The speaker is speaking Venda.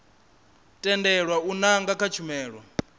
tendelwa u nanga kha tshumelo